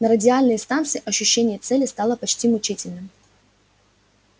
на радиальной станции ощущение цели стало почти мучительным